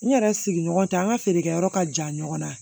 N yɛrɛ sigiɲɔgɔn tɛ an ka feerekɛyɔrɔ ka jan ɲɔgɔn na